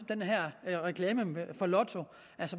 den her reklame for lotto